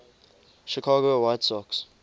chicago white sox